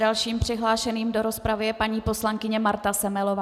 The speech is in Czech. Dalším přihlášeným do rozpravy je paní poslankyně Marta Semelová.